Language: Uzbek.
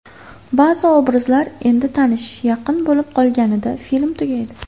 Ba’zi obrazlar endi tanish, yaqin bo‘lib qolganida film tugaydi.